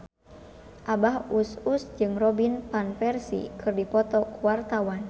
Abah Us Us jeung Robin Van Persie keur dipoto ku wartawan